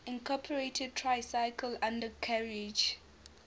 incorporated tricycle undercarriage